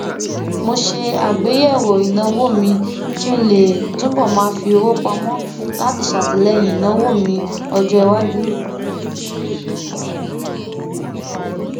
mo ṣe àgbéyẹwò ìnáwó mi kí n lè túbò máa fi owó pamọ láti ṣàtìléyìn ìnáwó mi ọjọiwájú